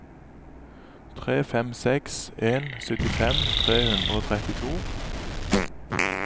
tre fem seks en syttifem tre hundre og trettito